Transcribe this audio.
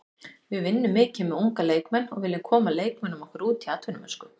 Við vinnum mikið með unga leikmenn og viljum koma leikmönnum okkar út í atvinnumennsku.